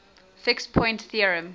fixed point theorem